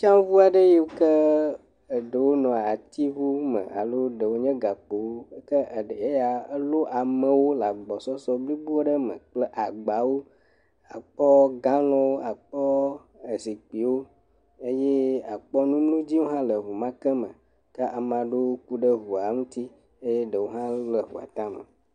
Tsaŋu aɖe yiwo ke eɖewo nɔ atiŋu me alo ɖewo nye gakpowo ke eɖe yae lo amewo le agbɔsɔsɔ blibo aɖe me kple agbawo. Akpɔ galɔn, akpɔ ezikpuiwo eye akpɔ numlodziwo hã le ŋu ma ke me ke ame aɖewo ku ɖe ŋua ŋuti eye ɖewo le ŋua ta me.